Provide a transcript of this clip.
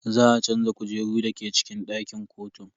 Za a canza kujeru dake cikin dakin kotun.